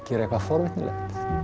gera eitthvað forvitnilegt